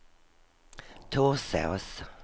Torsås